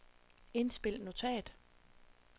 indspil notat